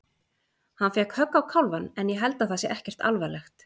Hann fékk högg á kálfann en ég held að það sé ekkert alvarlegt.